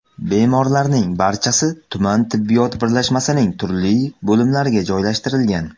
Bemorlarning barchasi tuman tibbiyot birlashmasining turli bo‘limlariga joylashtirilgan.